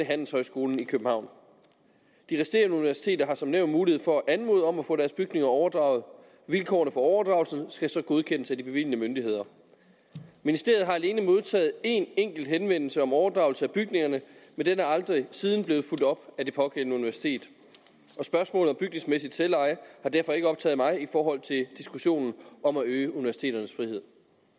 handelshøjskolen i københavn de resterende universiteter har som nævnt mulighed for at anmode om at få deres bygninger overdraget vilkårene for overdragelsen skal så godkendes af de bevilgende myndigheder ministeriet har alene modtaget en enkelt henvendelse om overdragelse af bygninger men den er aldrig siden blevet fulgt op af det pågældende universitet og spørgsmålet om bygningsmæssigt selveje har derfor ikke optaget mig i forhold til diskussionen om at øge universiteternes frihed